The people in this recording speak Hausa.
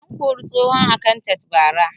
An kori tsohon akantat bara